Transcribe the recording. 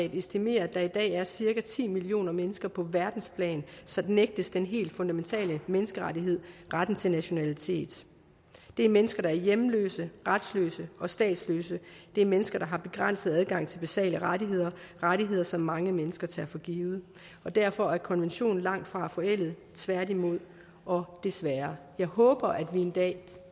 estimerer at der i dag er cirka ti millioner mennesker på verdensplan som nægtes den helt fundamentale menneskerettighed retten til nationalitet det er mennesker der er hjemløse retsløse og statsløse det er mennesker der har begrænset adgang til basale rettigheder rettigheder som mange mennesker tager for givet derfor er konventionen langtfra forældet tværtimod og desværre jeg håber at vi en dag